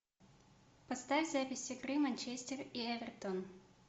поставь запись игры манчестер и эвертон